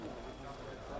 Yəni çaşdı.